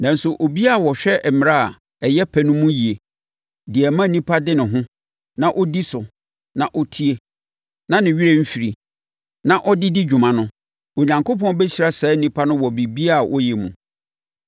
Nanso, obiara a ɔhwɛ mmara a ɛyɛ pɛ no mu yie, deɛ ɛma onipa de ne ho, na ɔdi so, na ɔtie, na ne werɛ mfiri, na ɔde di dwuma no, Onyankopɔn bɛhyira saa onipa no wɔ biribiara a ɔyɛ mu.